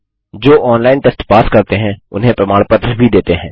जो online test pass करते हैं उन्हें प्रमाण पत्र भी देते हैं